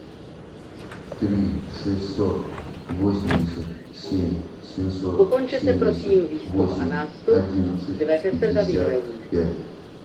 три шестьсот восемьдесят семь семьсот семьдесят восемь одиннадцать пятьдесят пять